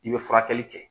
I bɛ furakɛli kɛ